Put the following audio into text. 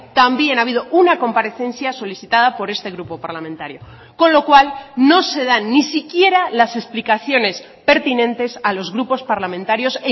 también ha habido una comparecencia solicitada por este grupo parlamentario con lo cual no se da ni siquiera las explicaciones pertinentes a los grupos parlamentarios